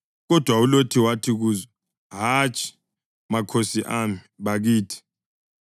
Kodwa uLothi wathi kuzo, “Hatshi, makhosi ami, bakithi!